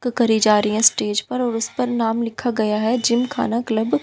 जा रहे है स्टेज पर और उसे पर नाम लिखा गया है जिम खाना क्लब --